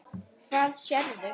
Hvað sérðu?